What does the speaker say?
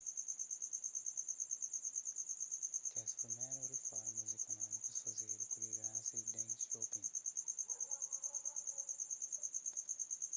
kes primerus riformas ikunómikus fazedu ku lideransa di deng xiaoping